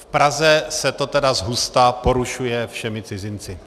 V Praze se to tedy zhusta porušuje všemi cizinci.